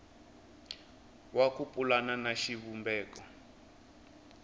wa ku pulana na xivumbeko